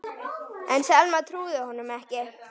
En Selma trúði honum ekki.